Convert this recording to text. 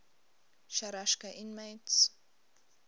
sharashka inmates